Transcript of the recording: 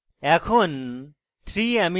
এখন